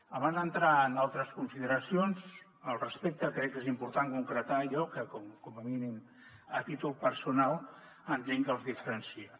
abans d’entrar en altres consideracions al respecte crec que és important concretar allò que com a mínim a títol personal entenc que els diferencia